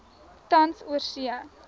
tans oorsee